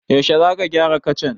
Yaushe za ka gyara kacan?